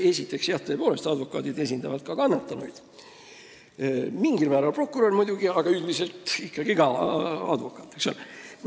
Esiteks esindavad advokaadid ka kannatanuid – mingil määral muidugi prokurörid, aga üldiselt ikkagi ka advokaadid.